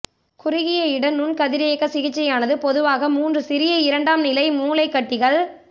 குறுகிய இட நுண் கதிரியக்கச் சிகிச்சையானது பொதுவாக மூன்று சிறிய இரண்டாம் நிலை மூளைக் கட்டிகள்